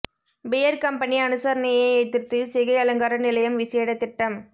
pier company அனுசரணையை எதிர்த்து சிகை அலங்கார நிலையம் விசேட திட்டம்